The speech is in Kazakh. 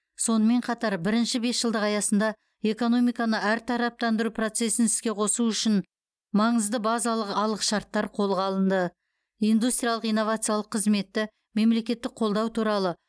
сонымен қатар бірінші бесжылдық аясында экономиканы әртараптандыру процесін іске қосу үшін маңызды базалық алғышартар қолға алынды индустриялық инновациялық қызметті мемлекеттік қолдау туралы